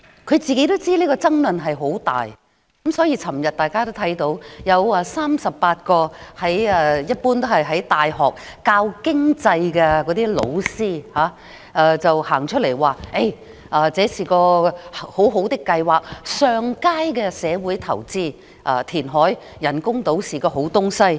她也知道此事會引發大量爭議，所以大家昨天便看到38位在大學教授經濟學的教師表示這是很好的計劃、上佳的社會投資，填海建人工島是好事。